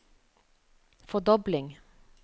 fordobling